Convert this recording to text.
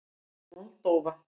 Moldóva